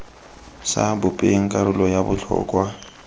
sa bopeng karolo ya botlhokwa